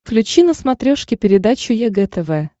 включи на смотрешке передачу егэ тв